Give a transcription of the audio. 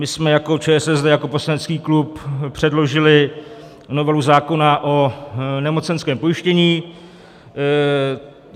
My jsme jako ČSSD, jako poslanecký klub, předložili novelu zákona o nemocenském pojištění.